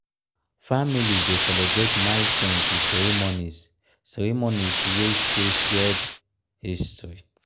family dey celebrate milestones with ceremonies ceremonies wey show shared history.